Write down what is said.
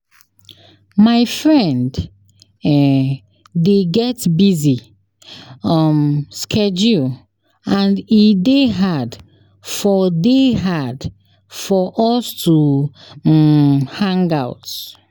My friend um dey get busy um schedule and e dey hard for dey hard for us to um hang out.